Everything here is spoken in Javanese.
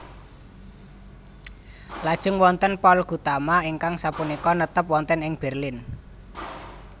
Lajeng wonten Paul Gutama ingkang sapunika netep wonten ing Berlin